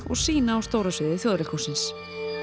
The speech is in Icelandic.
og sýna á stóra sviði Þjóðleikhússins